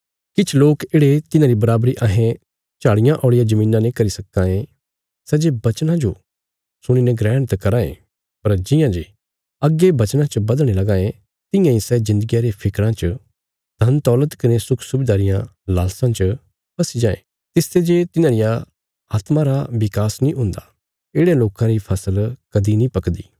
किछ लोक येढ़े तिन्हांरी बराबरी अहें झाड़ियां औल़िया धरतिया ने करी सक्कां ए सै जे बचनां जो सुणी ने ग्रहण त कराँ ये पर जियां जे अग्गे बचनां च बधणे लगां ये तियां इ सै जिन्दगिया रे फिक्राँ च धनदौलत कने सुख सुबिदा रिया लालसा च फस्सी जायें तिसते जे तिन्हां रिया आत्मा रा बिकास नीं हुन्दा येढ़यां लोकां री फसल कदीं नीं पकदी